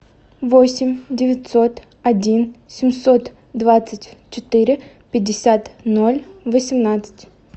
восемь девятьсот один семьсот двадцать четыре пятьдесят ноль восемнадцать